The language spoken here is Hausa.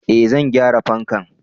eh zan gyara fankan